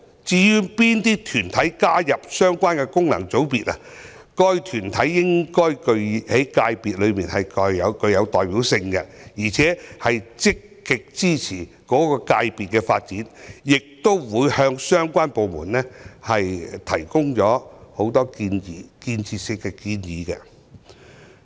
至於哪些團體加入相關功能界別的問題，該團體應在界別具有代表性，並且積極支持該界別的發展，亦會向相關部門多提建設性建議。